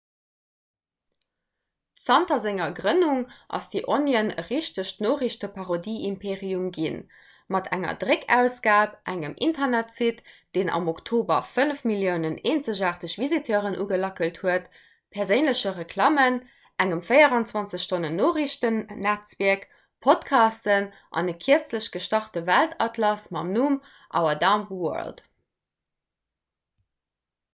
zanter senger grënnung ass the onion e richtegt noriichteparodieimperium ginn mat enger dréckausgab engem internetsite – deen am oktober 5 000 000 eenzegaarteg visiteuren ugelackelt huet perséinleche reklammen engem 24-stonnen-noriichtennetzwierk podcasten an e kierzlech gestarte weltatlas mam numm our dumb world